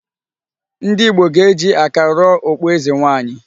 Ndị Ìgbo ga-eji aka rụọ okpu eze nwanyị.